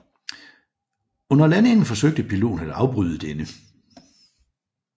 Under landingen forsøgte piloten at afbryde denne